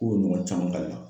K'o ɲɔgɔn caman k'a la.